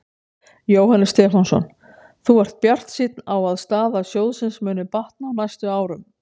Jóhannes Stefánsson: Þú ert bjartsýnn á að staða sjóðsins muni batna á næstu árum?